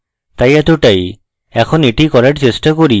তাই এতটাই এখন এটি করার চেষ্টা করি